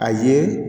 A ye